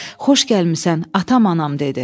Xoş gəlmisən, atam anam dedi.